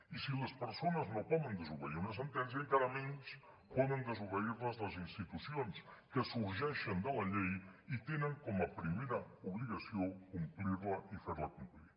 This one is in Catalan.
i si les persones no poden desobeir una sentència encara menys poden desobeir la les institucions que sorgeixen de la llei i tenen com a primera obligació complir la i fer la complir